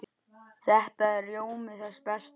Þetta er rjómi þess besta.